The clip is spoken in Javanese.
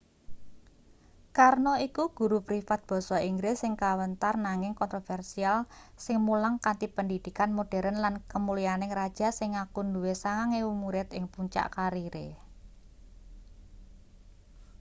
karno iku guru privat basa inggris sing kawentar nanging kontroversial sing mulang kanthi pendhidhikan moderen lan kemulyaning raja sing ngaku duwe 9,000 murid ing puncak karire